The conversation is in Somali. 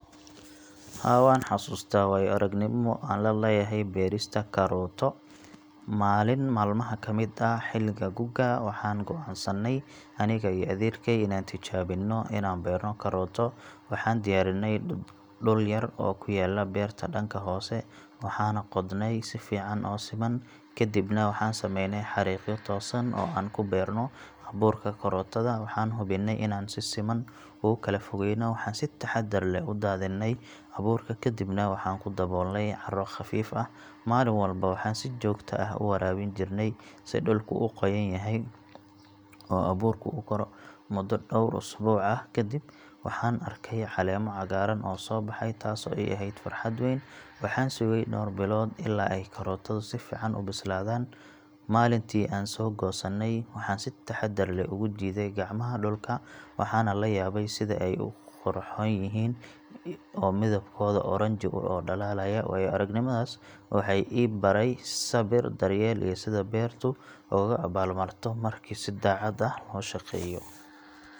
Haa, waxaan xasuustaa waayo-aragnimo aan la leeyahay beerista kaarooto. Maalin maalmaha ka mid ah xilliga gu’ga, waxaan go’aansanay aniga iyo adeerkay inaan tijaabino inaan beerno kaarooto. Waxaan diyaarinay dhul yar oo ku yaalla beerta dhanka hoose, waxaana qodnay si fiican oo siman. Kadibna waxaan sameynay xariiqyo toosan oo aan ku beerno abuurka kaarootada, waxaan hubinay in aan si siman ugu kala fogeyno. Waxaan si taxaddar leh u daadiney abuurka, kadibna waxaan ku daboolnay carro khafiif ah. Maalin walba waxaan si joogto ah u waraabin jirnay si dhulku u qoyan yahay oo abuurku u koro. Muddo dhowr usbuuc ah kadib, waxaan arkay caleemo cagaaran oo soo baxay, taasoo ii ahayd farxad weyn. Waxaan sugay dhowr bilood ilaa ay kaarootadu si fiican u bislaadaan. Maalintii aan soo goosanay, waxaan si taxaddar leh ugu jiiday gacmaha dhulka, waxaana la yaabay sida ay u qurxoon yihiin oo midabkooda oranjo u dhalaalayo. Waayo-aragnimadaas waxay i baray sabir, daryeel, iyo sida beertu ugaaga abaalmarto marka si daacad ah loo shaqeeyo.